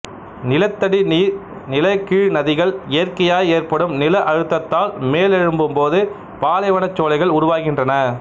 நிலத்தடி நீர் நிலகீழ் நதிகள் இயற்கையாய் ஏற்படும் நில அழுத்தத்தால் மேல் எழும்பும் போது பாலைவனச்சோலைகள் உருவாகின்றன